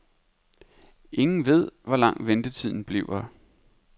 Ingen ved, hvor lang ventetiden bliver.